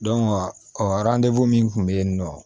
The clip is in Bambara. ɔkɔliden min tun be yen nɔ